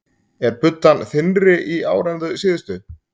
Er buddan þynnri í ár en þau síðustu?